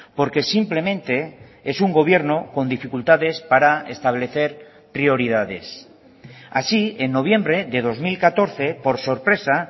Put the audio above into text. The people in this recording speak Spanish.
porque simplemente es un gobierno con dificultades para establecer prioridades así en noviembre de dos mil catorce por sorpresa